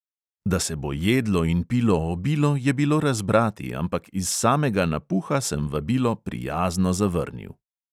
Da se bo jedlo in pilo obilo, je bilo razbrati, ampak iz samega napuha sem vabilo prijazno zavrnil.